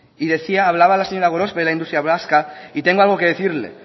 hablaba la señora gorospe de la industria vasca y tengo algo que decirle